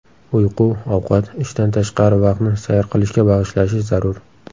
Uyqu, ovqat, ishdan tashqari vaqtni sayr qilishga bag‘ishlashi zarur.